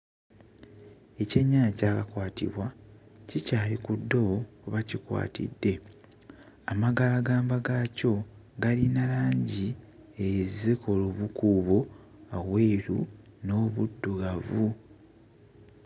Ekyennyanja ekyakakwatibwa kikyali ku ddobo kwe bakikwatidde. Amagalagamba gaakyo galina langi ezikola obukuubo obweru n'obuddugavu.